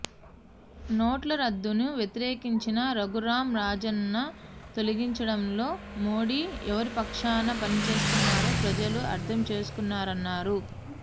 నోట్ల రద్దును వ్యతిరేకించిన రఘురామ్ రాజన్ను తొలగించడంలో మోడీ ఎవరిపక్షాన పనిచేస్తున్నారో ప్రజలు అర్థం చేసుకున్నారన్నారు